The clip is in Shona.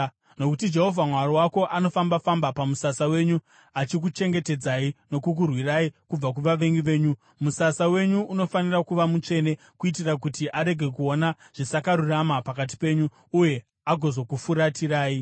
Nokuti Jehovha Mwari wako anofamba-famba pamusasa wenyu achikuchengetedzai nokukurwirai kubva kuvavengi venyu. Musasa wenyu unofanira kuva mutsvene, kuitira kuti arege kuona zvisakarurama pakati penyu uye akazokufuratirai.